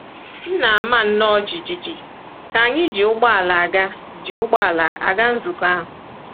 M na-ama nnọọ jijiji ka anyị ji ụgbọala aga ji ụgbọala aga nzukọ ahụ.